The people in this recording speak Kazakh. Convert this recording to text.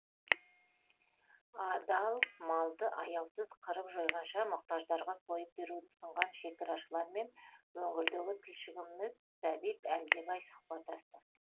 адал малды аяусыз қырып жойғанша мұқтаждарға сойып беруді ұсынған шекарашылармен өңірдегі тілшіміз сәбит әлдебай сұхбаттасты